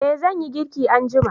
eh zan yi girki anjima